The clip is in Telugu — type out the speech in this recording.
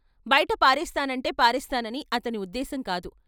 బయట పారేస్తానంటే పారేస్తానని అతని ఉద్దేశం కాదు.